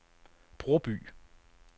Broby